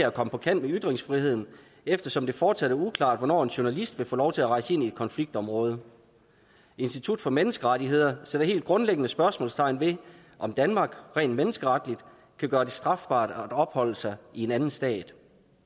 at komme på kant med ytringsfriheden eftersom det fortsat er uklart hvornår en journalist vil få lov til at rejse ind i et konfliktområde institut for menneskerettigheder sætter helt grundlæggende spørgsmålstegn ved om danmark rent menneskeretligt kan gøre det strafbart at opholde sig i en anden stat